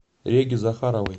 реге захаровой